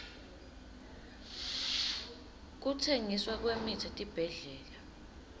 kutsengiswa kwemitsi etibhedlela